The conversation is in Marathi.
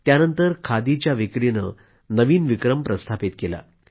यानंतर खादीच्या विक्रीने नवीन विक्रम प्रस्थापित केला